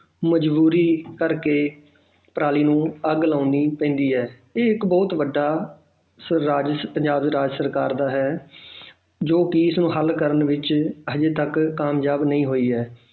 ਮਜ਼ਬੂਰੀ ਕਰਕੇ ਪਰਾਲੀ ਨੂੰ ਅੱਗ ਲਗਾਉਣੀ ਪੈਂਦੀ ਹੈ ਇਹ ਇੱਕ ਬਹੁਤ ਵੱਡਾ ਪੰਜਾਬ ਰਾਜ ਸਰਕਾਰ ਦਾ ਹੈ ਜੋ ਕਿ ਇਸਨੂੰ ਹੱਲ ਕਰਨ ਵਿੱਚ ਹਜੇ ਤੱਕ ਕਾਮਯਾਬ ਨਹੀਂ ਹੋਈ ਹੈ